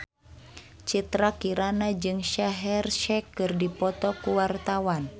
Citra Kirana jeung Shaheer Sheikh keur dipoto ku wartawan